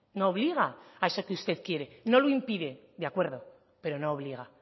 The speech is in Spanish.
no obliga a eso que usted quiere no lo impide de acuerdo pero no obliga